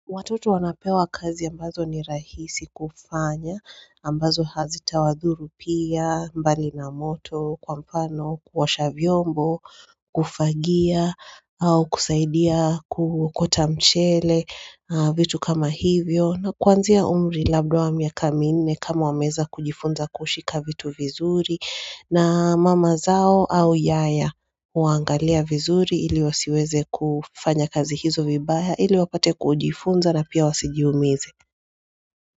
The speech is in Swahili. Watoto wanapewa kazi ambazo ni rahisi kufanya, ambazo hazitawadhuru pia, mbali na moto, kwa mfano kuosha vyombo, kufagia, au kusaidia kuokota mchele vitu kama hivyo. Na kwanzia umri labda wa miaka minne kama wameeza kujifunza kushika vitu vizuri na mama zao au yaya huwaangalia vizuri ili wasiweze kufanya kazi hizo vibaya ili wapate kujifunza na pia wasijiumize.